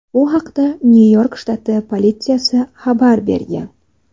Bu haqda Nyu-York shtati politsiyasi xabar bergan .